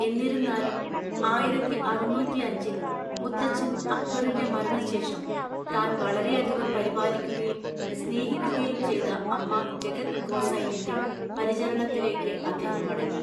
എന്നിരുന്നാലും, ആയിരത്തിഅറുന്നൂറ്റിഅഞ്ചിൽ മുത്തച്ഛൻ അക്ബറിൻ്റെ മരണശേഷം, താൻ വളരെയധികം പരിപാലിക്കുകയും സ്നേഹിക്കുകയും ചെയ്ത അമ്മ ജഗത് ഗോസൈനിൻ്റെ പരിചരണത്തിലേക്ക് അദ്ദേഹം മടങ്ങി.